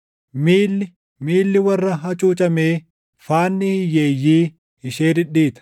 Miilli, miilli warra hacuucamee, faanni hiyyeeyyii ishee dhidhiita.